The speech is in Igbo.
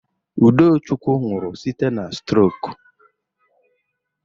Udochukwu nwụrụ site n'strok.